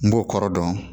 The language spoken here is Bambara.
N b'o kɔrɔ dɔn